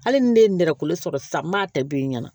Hali ni ne ye nɛrɛ kolo sɔrɔ sisan n b'a ta don i ɲɛna